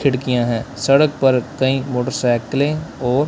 खिड़कियां है सड़क पर कई मोटरसाइकीलें और--